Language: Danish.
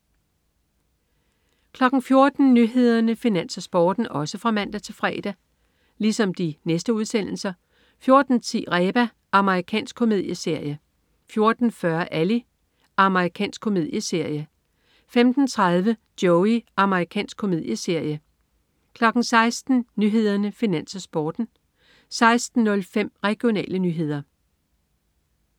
14.00 Nyhederne, Finans, Sporten (man-fre) 14.10 Reba. Amerikansk komedieserie (man-fre) 14.40 Ally. Amerikansk komedieserie (man-fre) 15.30 Joey. Amerikansk komedieserie (man-fre) 16.00 Nyhederne, Finans, Sporten (man-fre) 16.05 Regionale nyheder (man-fre)